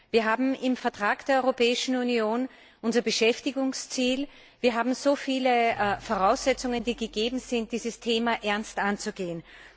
Wir haben im Vertrag der Europäischen Union unser Beschäftigungsziel, wir haben so viele Voraussetzungen, die gegeben sind, dieses Thema ernst anzugehen.